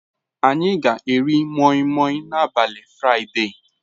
Anyị ga-eri Moimoi n'abalị Fraịde.